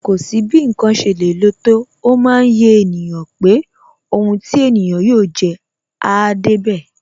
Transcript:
Kò sí bí ǹkan ṣe lè le tó, ó máa yé ènìyàn pé Ohun ti ènìyàn yóò jẹ́, áá débẹ̀.